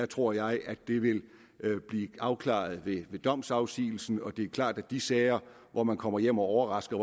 tror jeg at det vil blive afklaret ved domsafsigelsen det klart at de sager hvor man kommer hjem og overrasker